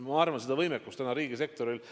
Ma arvan, et seda võimekust täna riigisektoril ...